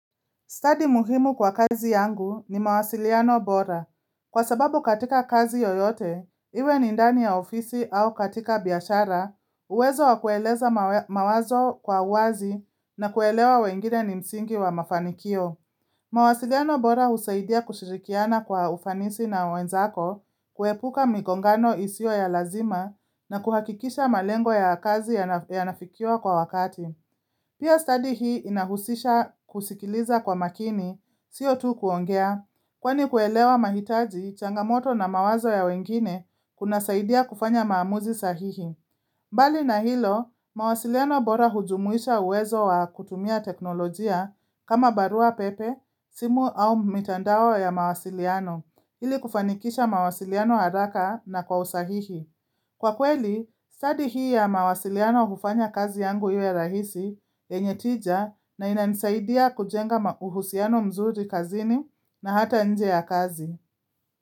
Stadi muhimu kwa kazi yangu ni mawasiliano bora. Kwa sababu katika kazi yoyote, iwe ni ndani ya ofisi au katika biashara, uwezo wa kueleza mawazo kwa uwazi na kuelewa wengine ni msingi wa mafanikio. Mawasiliano bora husaidia kushirikiana kwa ufanisi na wenzako, kuepuka migongano isiyo ya lazima na kuhakikisha malengo ya kazi yanafikiwa kwa wakati. Pia stadi hii inahusisha kusikiliza kwa makini, siyo tu kuongea, kwani kuelewa mahitaji, changamoto na mawazo ya wengine kunasaidia kufanya maamuzi sahihi. Mbali na hilo, mawasiliano bora hujumuisha uwezo wa kutumia teknolojia. Kama barua pepe, simu au mitandao ya mawasiliano, ili kufanikisha mawasiliano haraka na kwa usahihi. Kwa kweli, stadi hii ya mawasiliano hufanya kazi yangu iwe rahisi yenye tija, na inanisaidia kujenga uhusiano mzuri kazini na hata nje ya kazi.